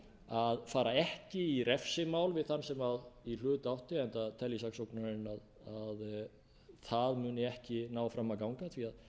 að fara ekki í refsimál við þann sem í hlut átti enda telji saksóknarinn að það muni ekki ná fram að ganga því að